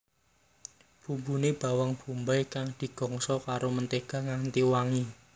Bumbune bawang bombay kang digongso karo mentega nganti wangi